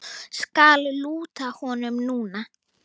Skal lúta honum núna.